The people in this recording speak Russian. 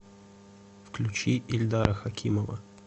включи ильдара хакимова